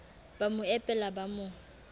ba mo epela ba mo